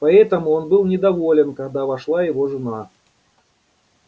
поэтому он был недоволен когда вошла его жена